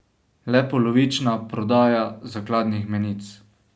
Le polovična prodaja zakladnih menic.